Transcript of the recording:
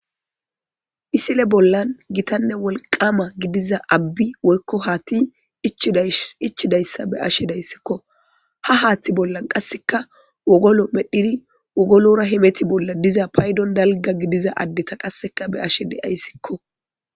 Ha misile bolla gitanne wolqama gidiza haathey woyko abbay ichidaysa be'ashe daysiko. Ha haatha bolla qaseka wogolora hemetishe de'iza patdon dalga gidiza addeta be'ashe daysiko.